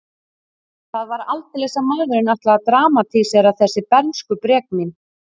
Það var aldeilis að maðurinn ætlaði að dramatísera þessi bernskubrek mín.